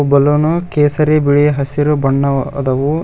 ಬಲ್ಲೋನು ಕೇಸರಿ ಬಿಳಿ ಹಸಿರು ಬಣ್ಣವ ಅದವು.